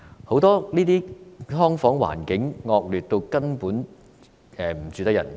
很多"劏房"環境根本惡劣至不適合人居住。